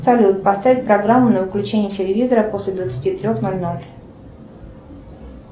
салют поставь программу на выключение телевизора после двадцати трех ноль ноль